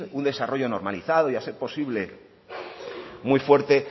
un desarrollo normalizado y a ser posible muy fuerte